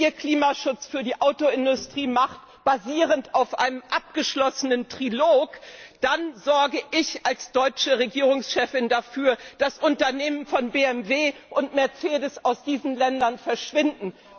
Wenn ihr Klimaschutz für die Autoindustrie macht, basierend auf einem abgeschlossenen Trilog, dann sorge ich als deutsche Regierungschefin dafür, dass Unternehmen von BMW und Mercedes aus diesen Ländern verschwinden.